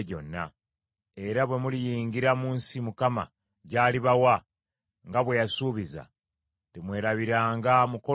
Era bwe muliyingira mu nsi Mukama gy’alibawa nga bwe yasuubiza, temwerabiranga mukolo guno.